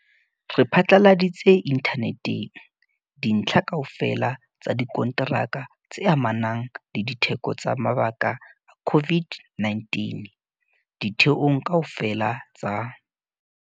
Re phatlaladitse inthaneteng dintlha kaofela tsa dikonteraka tse amanang le ditheko tsa mabaka a COVID-19 ditheong kaofela tsa